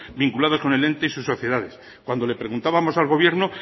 vinculados con el ente y sus sociedades cuando le preguntábamos al gobierno